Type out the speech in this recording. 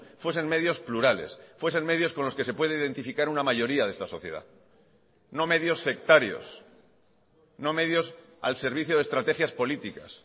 fuesen medios plurales fuesen medios con los que se puede identificar una mayoría de esta sociedad no medios sectarios no medios al servicio de estrategias políticas